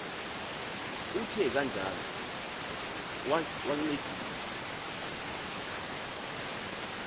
uthe kanjalo wancedisa